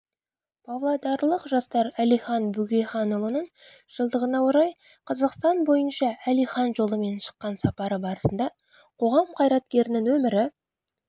павлодарлық жастар әлихан бөкейханұлының жылдығына орай қазақстан бойынша әлихан жолымен шыққан сапары барысында қоғам қайраткерінің өмірі